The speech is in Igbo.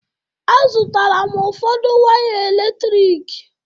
A zụtara m ụfọdụ waya eletrik.